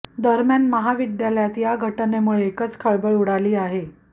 दरम्यान महाविद्यालयात या घटनेमुळे एकच खळबळ उडाली आहे